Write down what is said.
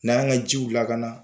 N'an ka jiw lakana